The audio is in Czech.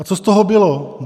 A co z toho bylo?